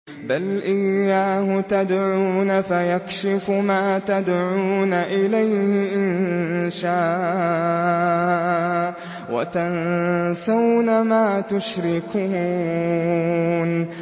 بَلْ إِيَّاهُ تَدْعُونَ فَيَكْشِفُ مَا تَدْعُونَ إِلَيْهِ إِن شَاءَ وَتَنسَوْنَ مَا تُشْرِكُونَ